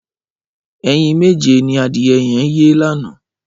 Ẹyín méjé ni adiẹ yẹ̀n yé lànã